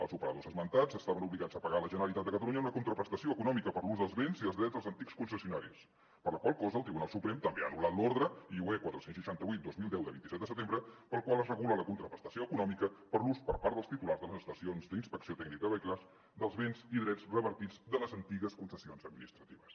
els operadors esmentats estaven obligats a pagar a la generalitat de catalunya una contraprestació econòmica per l’ús dels béns i els drets dels antics concessionaris per la qual cosa el tribunal suprem també ha anul·lat l’ordre iue quatre cents i seixanta vuit dos mil deu de vint set de setembre per la qual es regula la contraprestació econòmica per l’ús per part dels titulars de les estacions d’inspecció tècnica de vehicles dels béns i drets revertits de les antigues concessions administratives